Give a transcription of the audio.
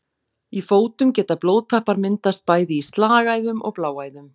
Í fótum geta blóðtappar myndast bæði í slagæðum og bláæðum.